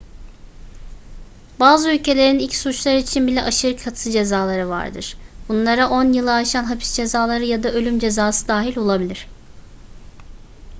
bazı ülkelerin ilk suçlar için bile aşırı katı cezaları vardır bunlara 10 yılı aşan hapis cezaları ya da ölüm cezası dahil olabilir